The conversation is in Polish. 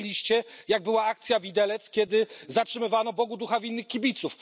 Gdzie byliście, jak była akcja Widelec, kiedy zatrzymywano Bogu ducha winnych kibiców?